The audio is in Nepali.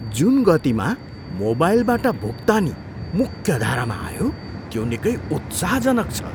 जुन गतिमा मोबाइलबाट भुक्तानी मुख्यधारामा आयो त्यो निकै उत्साहजनक छ।